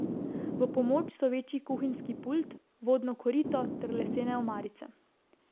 V pomoč so večji kuhinjski pult, vodno korito ter lesene omarice.